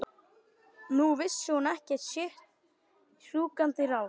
Nú vissi hún ekki sitt rjúkandi ráð.